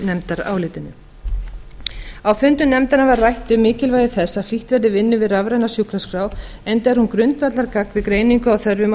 nefndarálitinu á fundum nefndarinnar var rætt um mikilvægi þess að flýtt verði vinnu við rafræna sjúkraskrá enda er hún grundvallargagn við greiningu á þörfum í